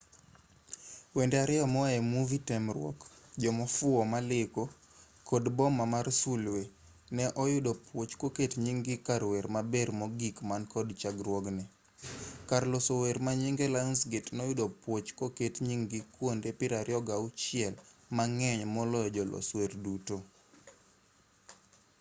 wende ariyo moae movie temruok jomofuwo maleko kod boma mar sulwe ne oyudo puoch koket nying-gi kar wer maber mogik man kod chakruokne. kar loso wer manyinge lionsgate noyudo puoch koket nying-gi kuonde 26 - mang'eny moloyo jolos wer duto